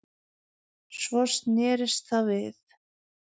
Svo snerist það við